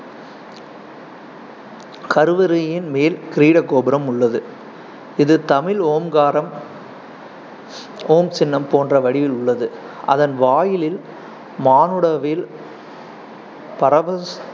கருவறையின் மேல் கிரீட கோபுரம் உள்ளது. இது தமிழ் ஓம்காரம் ஓம் சின்னம் போன்ற வடிவில் உள்ளது, அதன் வாயிலில் மானுடவில் பரவ~